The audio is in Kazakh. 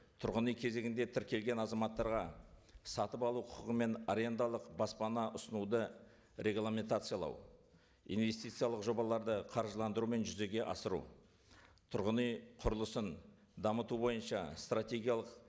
тұрғын үй кезегінде тіркелген азаматтарға сатып алу құқығы мен арендалық баспана ұсынуды регламентациялау инвестициялық жобаларды қаржыландыру мен жүзеге асыру тұрғын үй құрылысын дамыту бойынша стратегиялық